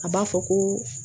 A b'a fɔ ko